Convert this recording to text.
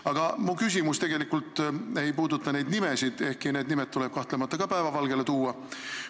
Aga mu küsimus ei puuduta neid nimesid, ehkki need nimed tuleb kahtlemata ka päevavalgele tuua.